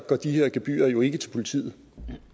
de her gebyrer jo ikke til politiet